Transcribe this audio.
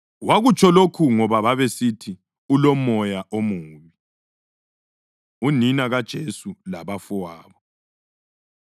Wakutsho lokhu ngoba babesithi, “Ulomoya omubi.” Unina KaJesu Labafowabo